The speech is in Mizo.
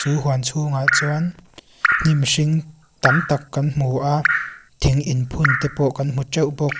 huan chhungah chuan hnim hring tamtak kan hmu a thing in phun tepaw kan hmu teuh bawk.